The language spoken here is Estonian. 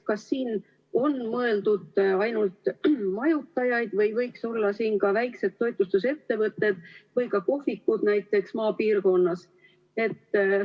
Kas siin on mõeldud ainult majutajaid või võiks olla siin ka väikesed toitlustusettevõtted või ka kohvikud, näiteks maapiirkonnas?